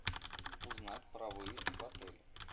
узнать про выезд в отеле